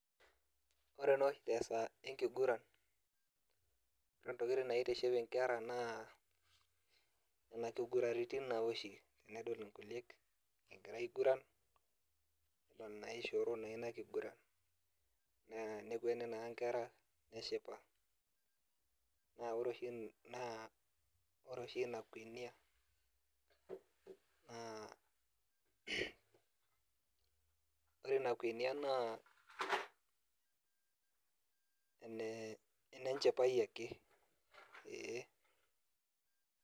Ore noshi tesaa enkiguran, ontokiting naitiship inkera naa, nena kiguranitin nawoshi, na idol inkuliek egira aiguran, nidol naishooro naa inakiguran. Naa nekueni naa nkera neshipa. Na ore oshi naa ore oshi ina kwenia, naa ore ina kwenia naa ene nchipai ake. Ee.